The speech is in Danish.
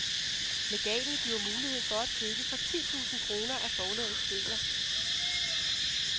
Legatet giver mulighed for at købe for ti tusind kroner af forlagets bøger.